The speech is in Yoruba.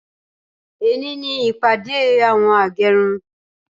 Ẹni ní ìpàdé àwọn agẹrun